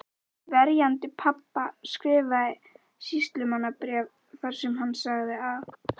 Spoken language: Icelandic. Verjandi pabba skrifaði sýslumanni bréf þar sem hann sagði að